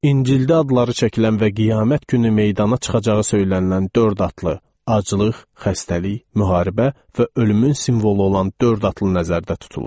İncildə adları çəkilən və qiyamət günü meydana çıxacağı söylənilən dörd atlı, aclıq, xəstəlik, müharibə və ölümün simvolu olan dörd atlı nəzərdə tutulur.